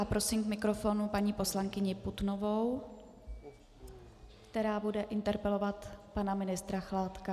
A prosím k mikrofonu paní poslankyni Putnovou, která bude interpelovat pana ministra Chládka.